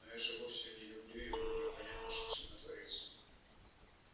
но я же вовсе не люблю его непонятно что со мной творится